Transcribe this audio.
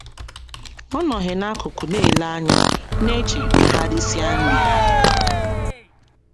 Ọ nọghị n’akụkụ na - ele anya, na - eche ka ha risịa nri.